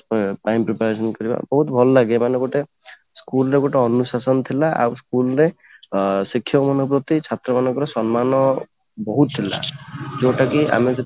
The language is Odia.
time to time ଆୟୋଜନ କରିବା ବହୁତ ଭଲ ଲାଗେ ମାନେ ଗୋଟେ school ର ଗୋଟେ ଅନୁଶାସନ ଥିଲା ଆଉ school ର ଅଂ ଶିକ୍ଷକ ମାନଙ୍କ ପ୍ରତି ଛାତ୍ର ମାନଙ୍କର ସମ୍ମାନ ବହୁତ ଥିଲା ଯୋଉଟା କି ଆମକୁ